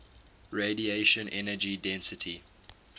radiation energy density